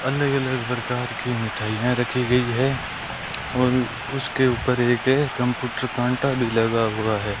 अलग अलग प्रकार की मिठाईयां रखी गई है और उसके ऊपर एक कंप्यूटर कांटा भी लगा हुई है।